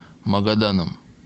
магаданом